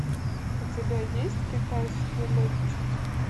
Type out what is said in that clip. у тебя есть китайский летчик